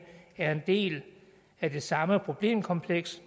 er en del af det samme problemkompleks